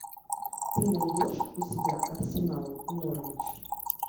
ты найдешь у себя арсенал норвич